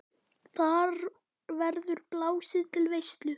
Þar verður blásið til veislu.